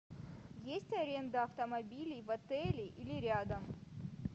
есть аренда автомобилей в отеле или рядом